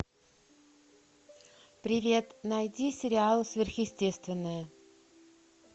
привет найди сериал сверхъестественное